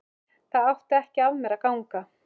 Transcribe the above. Það átti ekki af mér að ganga!